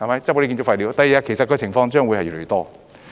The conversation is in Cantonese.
日後這些情況將會越來越多。